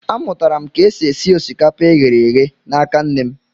A mụtara m ka esi e si osikapa e ghere eghe n'aka nne m.